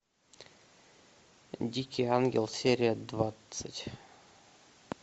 дикий ангел серия двадцать